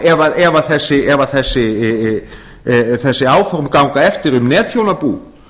stjórn landsvirkjunar mest að þakka ef þessi áform ganga eftir